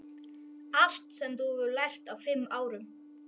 Allt sem þú hefur lært á fimm árum.